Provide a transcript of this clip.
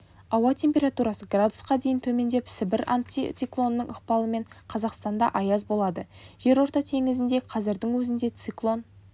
ауа температурасы градусқа дейін төмендеп сібір антициклонының ықпалымен қазақстанда аяз болады жерорта теңізінде қазірдің өзінде циклон